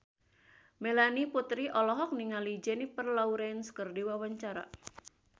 Melanie Putri olohok ningali Jennifer Lawrence keur diwawancara